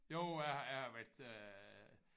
Jo jeg jeg har været øh